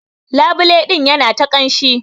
Labule din yana ta kamshi.